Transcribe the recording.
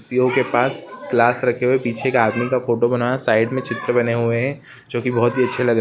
जिओ के पास गिलास रखे हुए पीछे का आदमी का फोटो बना हुआ है साइड मे चित्र बने हुए हैं जो की बहुत ही अच्छा--